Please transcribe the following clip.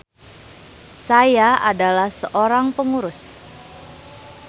Saya adalah seorang pengurus.